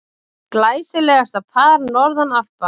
Glæsilegasta par norðan Alpa.